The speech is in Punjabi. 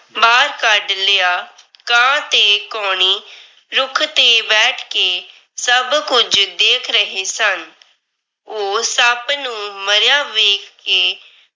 ਬਾਹਰ ਕੱਢ ਲਿਆ। ਕਾਂ ਤੇ ਕਾਉਣੀ ਰੁੱਖ ਤੇ ਬੈਠ ਕੇ ਸਭ ਕੁਝ ਦੇਖ ਰਹੇ ਸਨ। ਉਹ ਸੱਪ ਨੂੰ ਮਰਿਆ ਵੇਖ ਕੇ